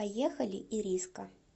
поехали ириска